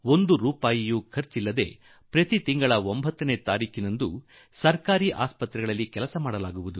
ಒಂದು ಪೈಸೆ ಖರ್ಚಿಲ್ಲದೆ ಪ್ರತಿ ತಿಂಗಳ 9ರಂದು ಈ ಕೆಲಸ ನಡೆಸಲಾಗುತ್ತದೆ